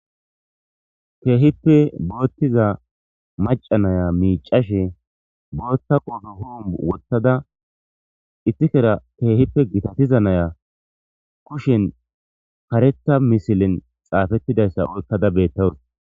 Kehippe loyiza macca nayiya botha qobe wothadda kushea kehipe gitatiza nayiya kusheni karetha misile xafetidayisa oyikada betawusi